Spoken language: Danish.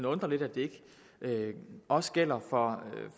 undre lidt at det ikke også gælder for